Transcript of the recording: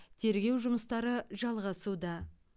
тергеу жұмыстары жалғасуда